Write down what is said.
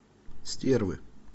стервы